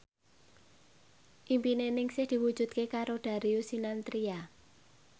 impine Ningsih diwujudke karo Darius Sinathrya